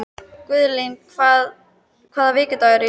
Guðlín, hvaða vikudagur er í dag?